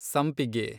ಸಂಪಿಗೆ